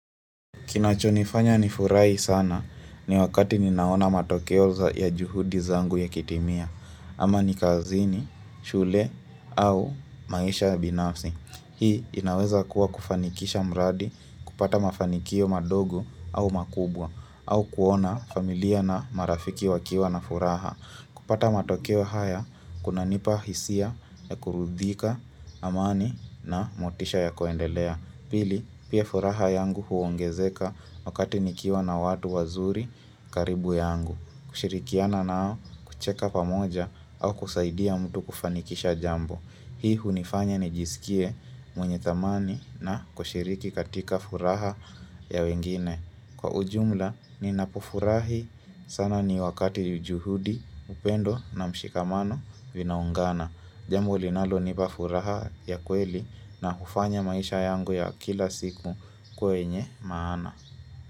Kinachonifanya nifurahi sana ni wakati ninaona matokeo za ya juhudi zangu yakitimia, ama ni kazini, shule au maisha ya binafsi. Hii inaweza kuwa kufanikisha mradi, kupata mafanikio madogo au makubwa, au kuona familia na marafiki wakiwa na furaha. Kupata matokeo haya, kunanipa hisia ya kuridhika, amani na motisha ya kuendelea. Pili, pia furaha yangu huongezeka wakati nikiwa na watu wazuri karibu yangu. Kushirikiana nao, kucheka pamoja au kusaidia mtu kufanikisha jambo. Hii hunifanya nijiskie mwenye thamani na kushiriki katika furaha ya wengine. Kwa ujumla, ninapofurahi sana ni wakati juhudi, upendo na mshikamano vinaungana. Jambo linalo nipafuraha ya kweli na hufanya maisha yangu ya kila siku ikuwe yenye maana.